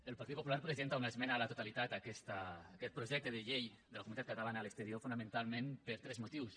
el partit popular presenta una esmena a la totalitat a aquest projecte de llei de la comunitat catalana a l’exterior fonamentalment per tres motius